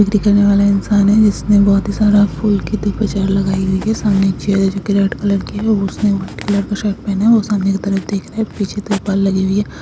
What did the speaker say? दिखाने वाला इंसान है। इसने बहोत ही सारा फूल की बाजार लगाई हुई है। सामने एक चैर है। जोकी रेड कलर की है। और उसने व्हाइट कलर का शर्ट पहना है। और सामने की तरफ देख रहा है। पीछे लगी हुई है।